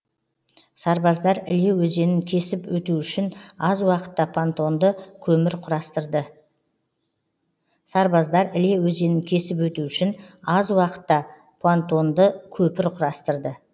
сарбаздар іле өзенін кесіп өту үшін аз уақытта понтонды көпір құрастырды